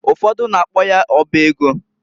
Ufodu na-akpo ya ọba ego.